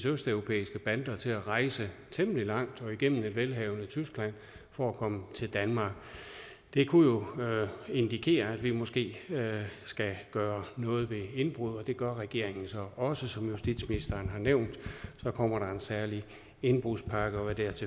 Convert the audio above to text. østeuropæiske bander til at rejse temmelig langt og igennem det velhavende tyskland for at komme til danmark det kunne jo indikere at vi måske skulle gøre noget ved indbrud og det gør regeringen så også som justitsministeren har nævnt kommer der en særlig indbrudspakke og hvad deraf